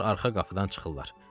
Onlar arxa qapıdan çıxırlar.